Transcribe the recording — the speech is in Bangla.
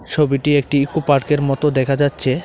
ছবিটি একটি ইকোপার্কের মতো দেখা যাচ্ছে।